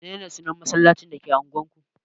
Mene ne sunan masallacin da ke unguwar ku?